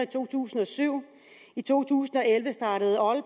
to tusind og syv i to tusind